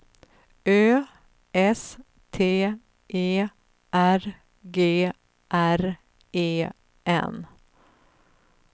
Ö S T E R G R E N